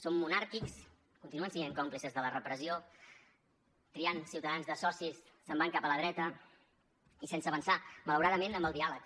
són monàrquics continuen sent còmplices de la repressió triant ciutadans de socis se’n van cap a la dreta i sense avançar malauradament amb el diàleg